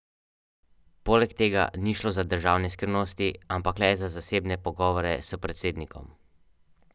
Zelo pomembno se mi zdi tudi to, da širi idejo sekularne etike.